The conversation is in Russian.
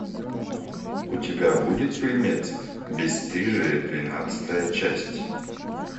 у тебя будет фильмец бесстыжие двенадцатая часть